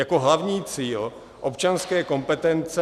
Jako hlavní cíl občanské kompetence